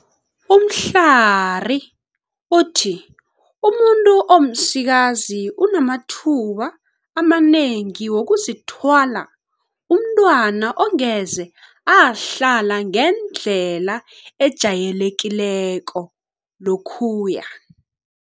Mhlari uthi umuntu omsikazi unamathuba amanengi wokuzithwala umntwana ongeze ahlala ngendlela ejayelekileko, lokhuya.